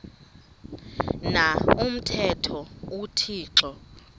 na umthetho uthixo